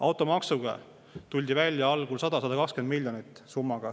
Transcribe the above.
Automaksu puhul tuldi algul välja summaga 100–120 miljonit.